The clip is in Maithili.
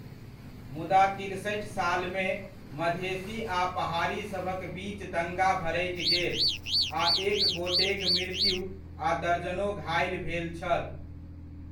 मुदा तिरसठि सालमे, मधेसी आ पहाड़ीसभक बिच दङ्गा भड़कि गेल आ एक गोटेक मृत्यु आ दर्जनो घाइल भेल छल।